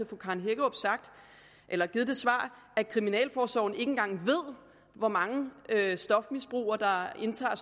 fru karen hækkerup sagt at kriminalforsorgen ikke engang ved hvor mange stofmisbrugere der indtager